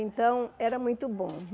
Então, era muito bom.